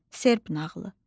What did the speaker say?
Serb nağılı.